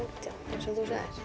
eins og þú sagðir